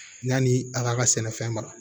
Yanni a ka sɛnɛfɛn mara